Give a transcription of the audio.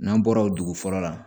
N'an bɔra o dugu fɔlɔ la